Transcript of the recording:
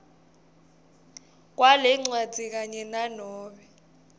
kwalencwadzi kanye nanobe